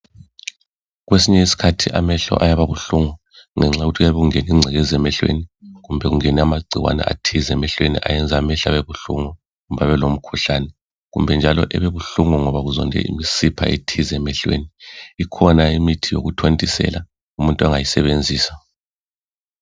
Kwesinye iskhathi amehlo ayaba buhlungu ngenxa yokuthi kuyabe kungene ingcekeza emehlweni . Kumbe kungene amagcikwane athize emehlweni ayenza amehlo abebuhlungu kumbe abe lomkhuhlane kumbe njalo ebebuhlungu ngoba kuzonde imisipha ethize emehlweni .Ikhona imithi yokuthontisela umuntu angayisebenzisa .